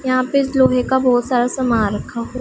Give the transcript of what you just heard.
यहां पे इस लोहे का बहुत सारा सामान रखा हुआ--